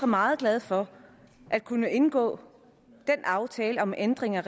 meget glade for at kunne indgå den aftale om ændring af